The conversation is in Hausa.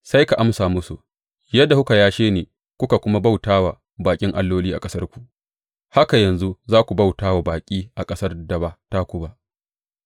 Sai ka amsa musu, Yadda kuka yashe ni kuka kuma bauta wa baƙin alloli a ƙasarku, haka yanzu za ku bauta wa baƙi a ƙasar da ba taku ba.’